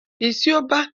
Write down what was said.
A'a, bai siyo ba